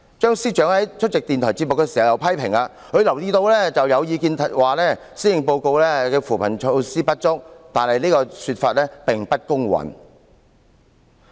張司長在出席電台節目時又批評，他留意到有意見指施政報告的扶貧措施不足，但此說法並不公允。